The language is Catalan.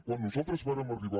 quan nosaltres vàrem arribar